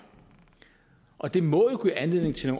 og det må jo give anledning til